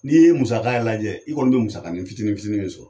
N'i ye musaka yɛrɛ lajɛ i kɔni bɛ musakanin fitinin fitinin min sɔrɔ.